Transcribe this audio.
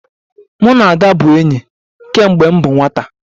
Mụ na Ada bụ enyi kemgbe m bụ nwata